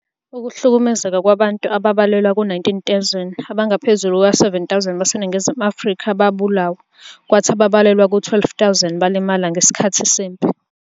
Ukuhlukumezeka kwabantu ababalelwa ku-19,000, abangaphezu kuka-7,000 baseNingizimu Afrika babulawa, kwathi ababalelwa ku-12,000 balimala ngesikhathi sempi.